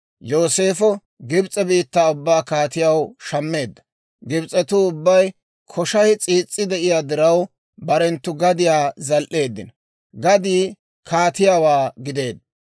Yooseefo Gibs'e biittaa ubbaa kaatiyaw shammeedda. Gibs'etuu ubbay koshay s'iis's'i de'iyaa diraw, barenttu gadiyaa zal"eeddino; gadii kaatiyaawaa gideedda.